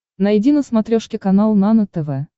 найди на смотрешке канал нано тв